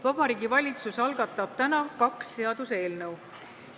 Vabariigi Valitsus algatab täna kaks seaduseelnõu.